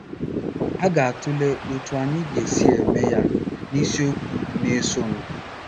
A ga-atụle otú anyị ga-esi eme ya n’isiokwu na-esonụ.